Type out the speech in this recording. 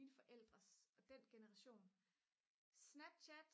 mine forældres og den generation snapchat